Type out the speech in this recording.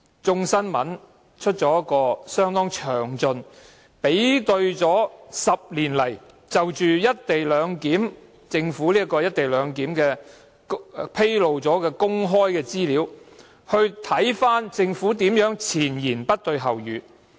《眾新聞》剛剛作出了相當詳盡的報道，比對在這10年間，政府就"一地兩檢"安排所披露的公開資料是如何的前言不對後語。